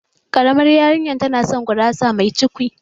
Ƙaramar yarinyar tana son gurasa mai cukwi